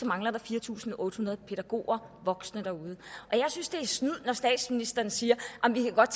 mangler fire tusind otte hundrede pædagoger voksne derude jeg synes det er snyd når statsministeren siger at vi godt